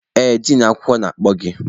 Ee, din akwụkwọ na-akpọ gị.